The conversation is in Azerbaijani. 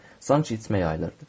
sanki işıq yayılırdı.